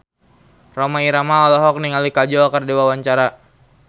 Rhoma Irama olohok ningali Kajol keur diwawancara